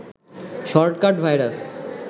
shortcut virus